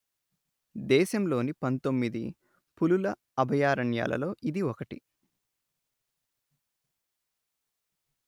దేశంలోని పందొమ్మిది పులుల అభయారణ్యాలలో ఇది ఒకటి